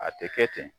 A tɛ kɛ ten